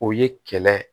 O ye kɛlɛ